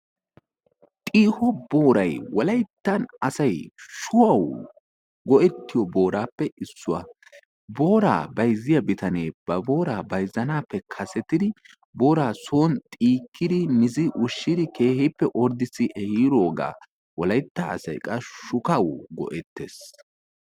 xiiho booray wolayttan asay shuhawu go'etiyo booratuppe issuwa. booraa bayzziya bitanee ba booraa son xiikkidi keehippe son ordissidi ehiidoogaa wolaytta asay son go'etees.